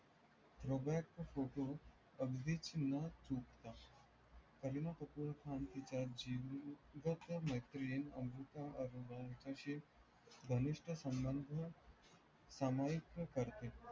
रोबेट सुटो अगदीची न चुकता करीना कपूर खान तिच्या वर तिची जीवलग मैत्रीण अमृता अरोरा तसेच घनिष्ट संबंध समाविक करते.